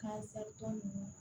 Ka zɛri tɔ ninnu